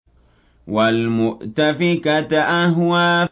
وَالْمُؤْتَفِكَةَ أَهْوَىٰ